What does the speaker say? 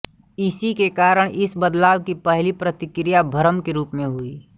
इसी के कारण इस बदलाव की पहली प्रतिक्रिया भ्रम के रूप में हुई